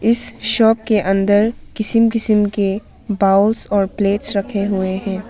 इस शॉप के अंदर किस्म किस्म के बॉउल्स और प्लेट्स रखे हुए हैं।